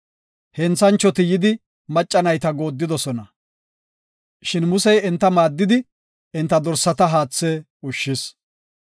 Henthanchoti yidi macca nayta goodidosona. Shin Musey enta maaddidi enta dorsata haathe ushshis.